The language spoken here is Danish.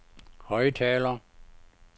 højttaler